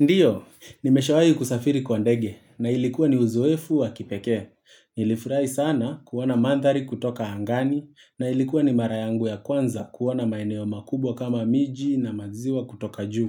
Ndiyo, nimeshawahi kusafiri kwa ndege na ilikuwa ni uzoefu wa kipekee. Nilifurai sana kuona manthari kutoka angani na ilikuwa ni mara yangu ya kwanza kuona maeneo makubwa kama miji na maziwa kutoka juu.